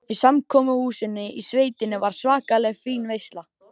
Í samkomuhúsinu í sveitinni var svakalega fín veisla.